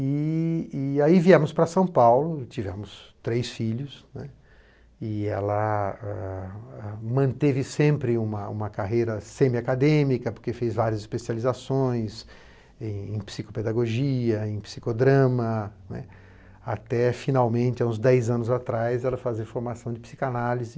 E e aí viemos para São Paulo, tivemos três filhos, né, e ela manteve ãh sempre uma uma carreira semi acadêmica, porque fez várias especializações em psicopedagogia, em psicodrama, né, até finalmente, há uns dez anos atrás, ela fazer formação de psicanálise.